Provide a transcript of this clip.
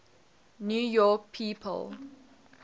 new york people